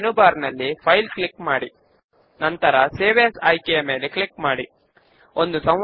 main base window లో left panel మీద ఉన్న ఫార్మ్స్ ఐకాన్ పైన క్లిక్ చేద్దాము